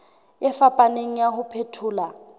e fapaneng ya ho phethola